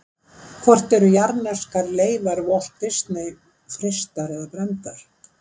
Hvort voru jarðneskar leifar Walt Disney frystar eða brenndar?